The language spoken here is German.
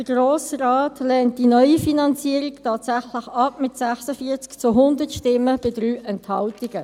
Der Grosse Rat lehnt die neue Finanzierung tatsächlich ab, mit 46 zu 100 Stimmen bei 3 Enthaltungen.